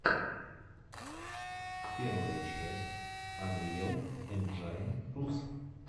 первая часть анриэл энджайн рус